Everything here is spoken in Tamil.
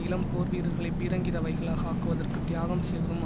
இளம் போர்வீரர்களை பீரங்கி ரவைகளாக ஆக்குவதற்கு தியாகம் செய்வதும்